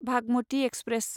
Bhagmati express